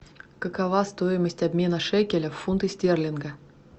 какова стоимость обмена шекеля в фунты стерлинга